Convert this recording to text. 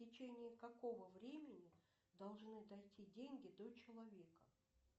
в течение какого времени должны дойти деньги до человека